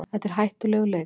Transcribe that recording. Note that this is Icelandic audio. Þetta er hættulegur leikur